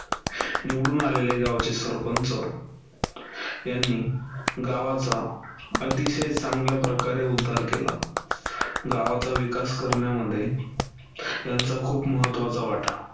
निवडून आलेले गावाचे सरपंच यांनी गावाचा अतिशय चांगल्याप्रकारे उद्धार केला. गावाचा विकास करण्यामध्ये यांचा खूप महत्वाचा वाटा.